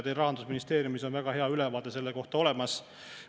Teil Rahandusministeeriumis on väga hea ülevaade selle kohta olemas.